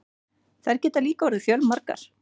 Þær geta líka orðið fjörgamlar.